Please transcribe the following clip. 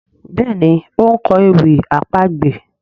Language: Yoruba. Béèni o nkọ ewì àpagbè.